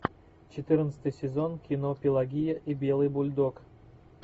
четырнадцатый сезон кино пелагея и белый бульдог